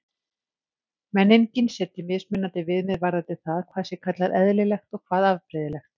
Menningin setji mismunandi viðmið varðandi það hvað sé kallað eðlilegt og hvað afbrigðilegt.